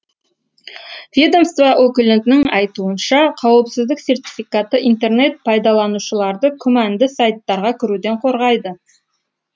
ведомство өкілінің айтуынша қауіпсіздік сертификаты интернет пайдаланушыларды күмәнді сайттарға кіруден қорғайды